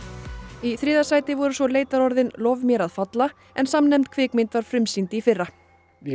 í þriðja sæti voru svo leitarorðin lof mér að falla en samnefnd kvikmynd var frumsýnd í fyrra já